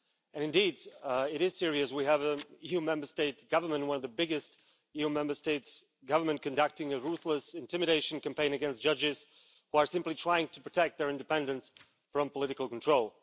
And, indeed, it is serious we have an EU Member State government one of the biggest EU Member States governments conducting a ruthless intimidation campaign against judges who are simply trying to protect their independence from political control.